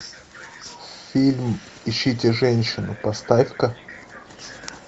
фильм ищите женщину поставь ка